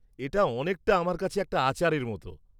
এটা অনেকটা আমার কাছে একটা আচারের মতো।